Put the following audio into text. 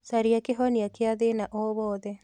Caria kĩhonia kĩa thĩna o wothe